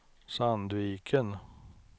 Sandviken